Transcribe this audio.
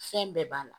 Fɛn bɛɛ b'a la